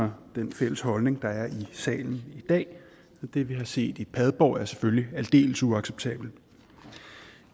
mig den fælles holdning der er i salen i dag det vi har set i padborg er selvfølgelig aldeles uacceptabelt